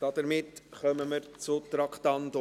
Damit kommen wir zum Traktandum 22.